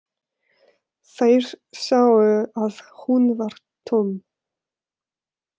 Þeir sáu að hún var tóm.